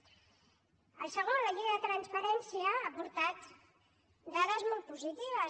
el segon la llei de transparència ha portat dades molt positives